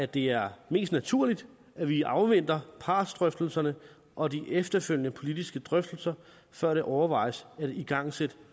det er mest naturligt at vi afventer partsdrøftelserne og de efterfølgende politiske drøftelser før det overvejes at igangsætte